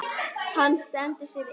Hann stendur sig vel.